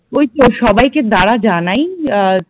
ওই তো সবাইকে দাড়া জানাই আহ